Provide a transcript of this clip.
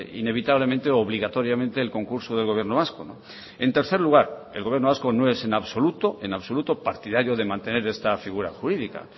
inevitablemente obligatoriamente el concurso del gobierno vasco en tercer lugar el gobierno vasco no es en absoluto en absoluto partidario de mantener esta figura jurídica